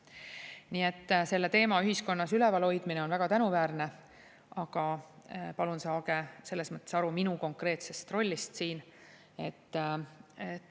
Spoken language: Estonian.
Nii et selle teema ühiskonnas üleval hoidmine on väga tänuväärne, aga palun saage selles mõttes aru minu konkreetsest rollist siin.